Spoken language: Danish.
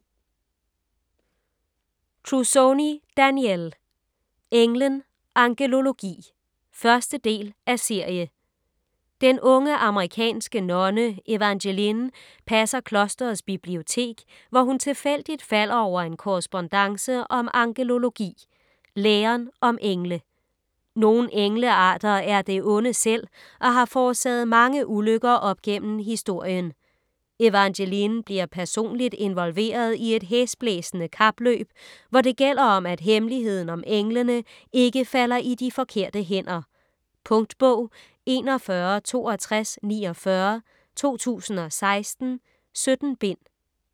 Trussoni, Danielle: Englen - angelologi 1. del af serie. Den unge amerikansk nonne Evangeline passer klosterets bibliotek, hvor hun tilfældigt falder over en korrespondance om angelologi - læren om engle. Nogle englearter er det onde selv og har forårsaget mange ulykker op gennem historien. Evangeline bliver personligt involveret i et hæsblæsende kapløb, hvor det gælder om, at hemmeligheden om englene ikke falder i de forkerte hænder. . Punktbog 416249 2016. 17 bind.